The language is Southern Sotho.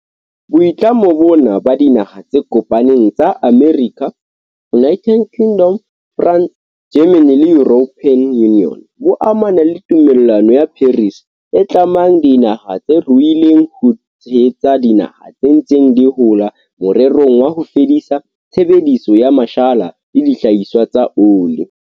Boitlamo bona ba Dinaha tse Kopaneng tsa Amerika, United Kingdom, France, Germany le European Union bo amana le Tumellano ya Paris, e tlamang dinaha tse ruileng ho tshehetsa dinaha tse ntseng di hola morerong wa ho fedisa tshebediso ya mashala le dihlahiswa tsa oli.